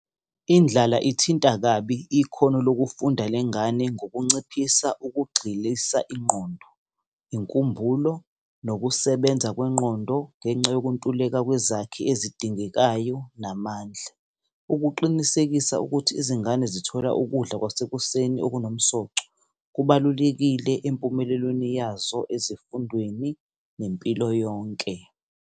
Indlala ithinta kabi ikhono lokufunda lengane ngokunciphisa ukugxilisa ingqondo, inkumbulo, nokusebenza kwengqondo, ngenxa yokuntuleka kwezakhi ezidingeka yayo namandla. Ukuqinisekisa ukuthi izingane zithole ukudla kwasekuseni okunomsoco, kubalulekile empumelelweni yazo, ezifundweni, nempilo yonke.